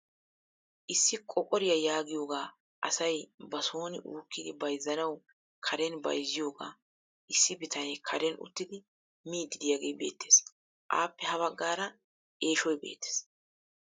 Issi qoqariyaa yaagiyoogaa asay ba sooni uukkidi bayzzanawu karen bayzziyoogaa issi bitanee karen uttidi miidi de'iyaagee beettees. appe ha baggaara eeshshoy beettees.